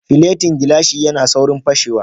Filetin gilashi ya na saurin fashewa